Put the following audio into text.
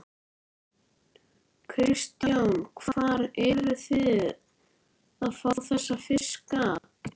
Kristján: Hvar eruð þið að fá þessa fiska?